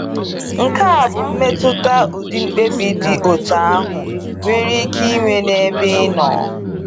Nke a bụ mmetụta ụdị mkpebi dị otú ahụ nwere ike inwe n’ebe inọ.